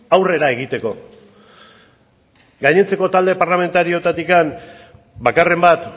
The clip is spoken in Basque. aurrera egiteko gainontzeko talde parlamentarioetatik bakarren bat